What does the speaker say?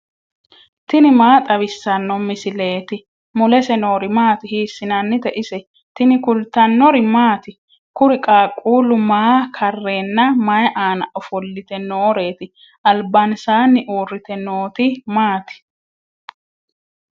tini maa xawissanno misileeti ? mulese noori maati ? hiissinannite ise ? tini kultannori maati? Kuri qaaqqulli maa kareenna mayi aanna ofollitte nooreetti? Alibansani uuritte nootti maati?